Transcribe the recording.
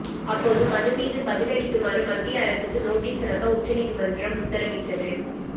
அப்போது மனு மீது பதில் அளிக்குமாறு மத்திய அரசுக்கு நோட்டீஸ் அனுப்ப உச்சநீதிமன்றம் உத்தரவிட்டது